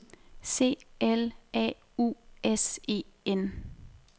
C L A U S E N